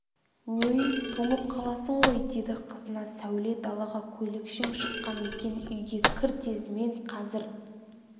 өй тоңып қаласың ғой деді қызына сәуле далаға көйлекшең шыққан екен үйге кір тез мен қазір